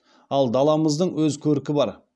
ал даламыздың өз көркі бар